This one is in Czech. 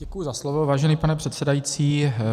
Děkuji za slovo, vážený pane předsedající.